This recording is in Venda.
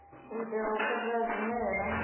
u itela u katela zwimela